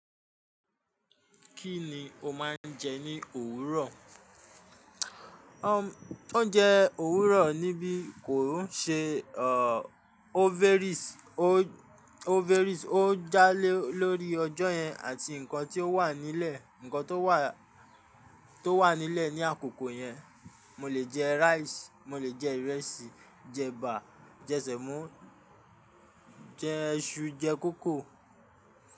Kí ni o máa ń jẹ ní òwúrọ̀? Oúnjẹ òwúrọ̀ níbí kò rún ṣe, òveris, ó já lórí ọjọ́ yẹn àti nǹkan tó wà nílẹ̀, nǹkan tó wà nílẹ̀ ní àkókò yẹn. Mo lè jẹ raisi, mo lè jẹ ìrẹsì, jẹ ẹ̀bà, jẹ sèmó, jẹ iṣu, jẹ kókò.